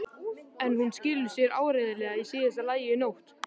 En hún skilar sér áreiðanlega í síðasta lagi í nótt.